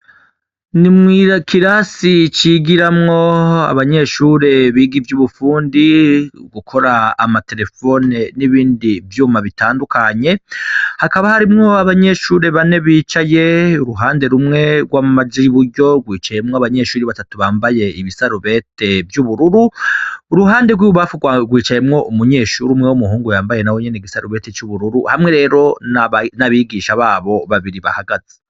N'ikirasi cigiramwo abanyeshure biga ivy'ubufundi, gukora amaterefone n'ibindi vyuma bitandukanye, hakaba harimwo abanyeshure bane bicaye, uruhande rumwe rwamaja ibuyo rwicayemwo abanyeshure abatatu bambaye ibisarubete vy'ubururu, uruhande rw'ibubamfu rwicayemwo umunyeshure umwe w'umuhungu nawe yambaye igisarubeti c'ubururu hamwe rero n'abigisha babiri bahagaze.